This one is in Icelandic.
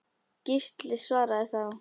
Gísli svaraði þá